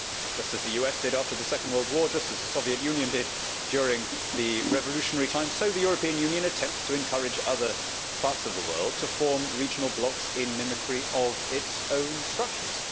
Just as the US did after the Second World War and just as the Soviet Union did during the revolutionary period, so the European Union attempts to encourage other parts of the world to form regional blocs in mimicry of its own structures.